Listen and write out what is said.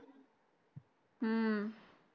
हम्म